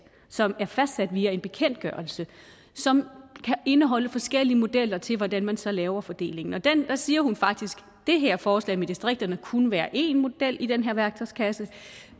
som er fastsat via en bekendtgørelse som kan indeholde forskellige modeller til hvordan man så laver fordelingen og der siger hun faktisk at det her forslag med distrikterne kunne være en model i den værktøjskasse